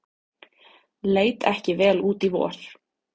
Leit ekki vel út í vor